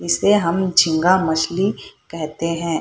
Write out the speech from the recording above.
इसे हम झींगा मछली कहते है।